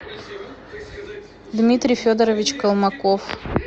дмитрий федорович колмаков